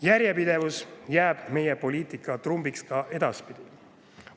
Järjepidevus jääb meie poliitika trumbiks ka edaspidi.